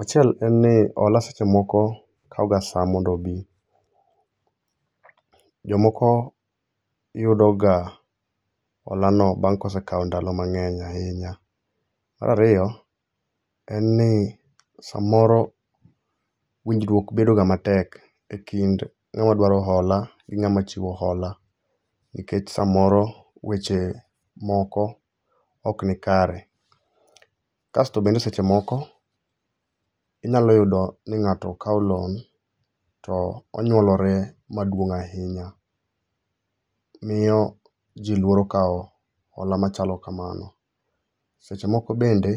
Achiel en ni hola seche moko kawo ga sa mondo obi. Jomoko yudoga holano bang' kosekawo ndalo mang'eny ahinya. Mar ariyo, en ni samoro winjruok bedoga matek e kind ng'ama dwaro hola gi ng'ama chiwo hola nikech samoro weche moko okni kare. Kasto bende seche moko inyalo yudo ni ng'ato kawo loan to onyuolore maduong' ahinya. Miyo ji luoro kawo hola machalo kamano. Seche moko bende